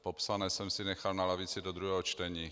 Popsané jsem si nechal na lavici do druhého čtení.